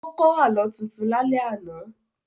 Ó kọ́ Àlọ́ tuntun lálẹ́ àná